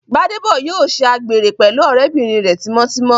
Gbádébọ̀ yóò ṣe àgbèrè pẹ̀lú ọ̀rẹ́bìnrin rẹ̀ tímọ́ tímọ́